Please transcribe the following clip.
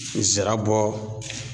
Zira bɔ